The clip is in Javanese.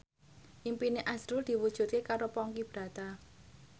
impine azrul diwujudke karo Ponky Brata